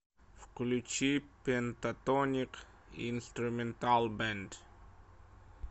включи пентатоник инструментал бэнд